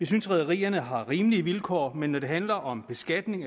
synes rederierne har rimelige vilkår men når det handler om beskatning